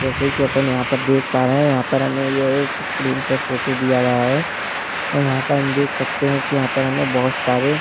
जैसे कि अपन यहाँ पर देख पा रहे है यहाँ पर हमें यह एक स्क्रीन पर फोटो दिया गया है और यहाँ पर हम देख सकते है कि यहाँ पर हमें बहोत सारे --